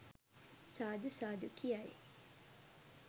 සාදු සාදු කියයි.